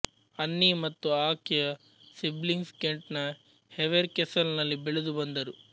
ಅನ್ನಿ ಮತ್ತು ಆಕೆಯ ಸಿಬ್ಲಿಂಗ್ಸ್ ಕೆಂಟ್ ನ ಹೆವೆರ್ ಕೆಸಲ್ ನಲ್ಲಿ ಬೆಳೆದು ಬಂದರು